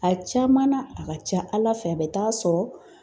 A caman na a ka ca Ala fɛ a bɛ taa sɔrɔ